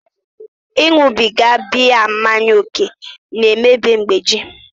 Ịṅụbiga biya mmanya ókè na-emebi mgbeji